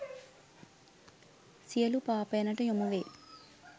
සියලු පාපයනට යොමු වේ.